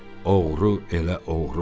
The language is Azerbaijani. Oğru elə oğrudur.